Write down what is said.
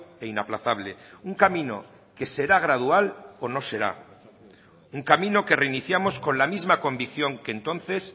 e inaplazable un camino que será gradual o no será un camino que reiniciamos con la misma convicción que entonces